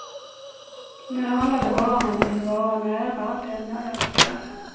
Nu handlar det bara om att jag vill vara nära den jag älskar.